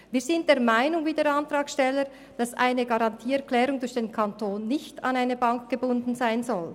Wir sind wie der Antragsteller der Meinung, dass eine Garantieerklärung durch den Kanton nicht an eine Bank gebunden sein soll.